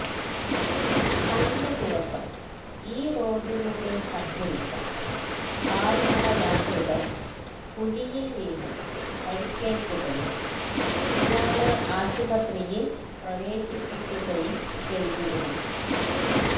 കഴിഞ്ഞ ദിവസം ഈ റോഡിലൂടെ സഞ്ചരിച്ച കാല്നടയാത്രികന് കുഴിയില് വീണ് പരിക്കേല്ക്കുകയും ഇയാളെ ആശുപത്രിയില് പ്രവേശിപ്പിക്കുകയും ചെയ്തിരുന്നു